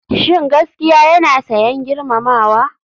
Shin gaskiya yana sayen girmamawa?